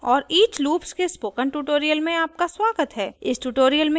ruby में for और each loops के स्पोकन ट्यूटोरियल में आपका स्वागत है